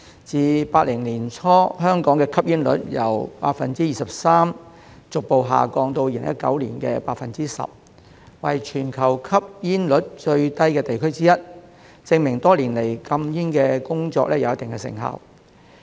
自1980年代初，香港的吸煙率由約 23% 逐步下降至2019年約 10%， 為全球吸煙率最低的地區之一，證明多年來的禁煙工作有一定的成效。